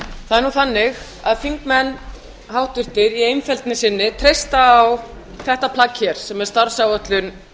það er þannig að háttvirtir þingmenn í einfeldni sinni treysta á þetta plagg sem er starfsáætlun